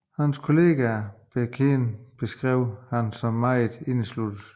Hans kolleger og bekendte beskrev ham som meget indesluttet